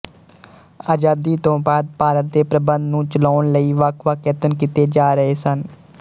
ਅਜ਼ਾਦੀ ਤੋਂ ਬਾਅਦ ਭਾਰਤ ਦੇ ਪ੍ਰਬੰਧ ਨੂੰ ਚਲਾਉਣ ਲਈ ਵੱਖਵੱਖ ਯਤਨ ਕੀਤੇ ਜਾ ਰਹੇ ਸਨ